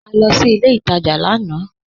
À lọ sí ilẹ̀ ìtajá lànà